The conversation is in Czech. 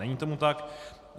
Není tomu tak.